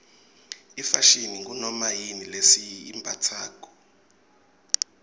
ifashini ngunoma yini lesiyimbatsako